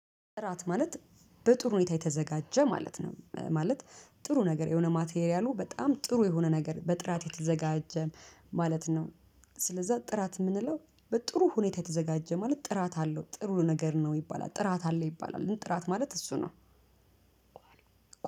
ጥራት ማለት በጥሩ ሁኔታ የተዘጋጀ ማለት ነው ማለት ጥሩ ነገር የሆነ ማቴርያሉ በጣም ጥሩ የሆነ ነገር በጥራት የተዘጋጀ ማለት ነው። ስለዛ ጥራት የምንለው በጥሩ ሁኔታ የተዘጋጀ ማለት ጥራት አለው ጥሩ ነገር ነው ይባላል ጥራት አለው ይባላል ጥራት ማለት እሱ ነው።